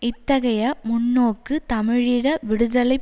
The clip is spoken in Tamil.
இத்தகைய முன்னோக்கு தமிழீழ விடுதலை